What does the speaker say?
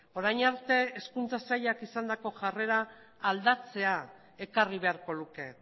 orain arte hezkuntza sailak izandako jarrera aldatzea ekarri beharko luke